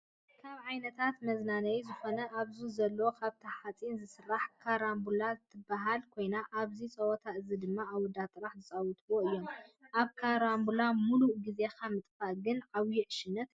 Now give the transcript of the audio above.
ካብ ዓይነታት መዝናነይ ዝኮነ ኣብዚ ዘሎ ካብ ሓፂን ዝተሰርሐ ካራቡላ ትበሃል ኮይና፤ ኣብዚ ፆወታ እዚ ድማ ኣወዳት ጥራሕ ዝፃወትዎም እዮም። ኣብ ካራቡላ ሙሉእ ግዜካ ምጥፋእ ግና ዓብዩ ዕሽነት እዩ።